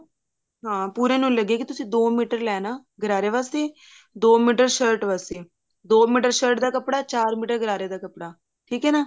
ਹਾਂ ਪੂਰੇ ਨੂੰ ਹੀ ਲੱਗੇਗੀ ਤੁਸੀਂ ਦੋ ਮੀਟਰ ਲੈਣਾ ਗਰਾਰੇ ਵਾਸਤੇ ਦੋ ਮੀਟਰ shirt ਵਾਸਤੇ ਦੋ ਮੀਟਰ shirt ਦਾ ਕੱਪੜਾ ਚਾਰ ਮੀਟਰ ਗਰਾਰੇ ਦਾ ਕੱਪੜਾ ਠੀਕ ਹੈ ਨਾ